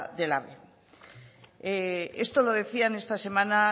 del ave esto lo decían esta semana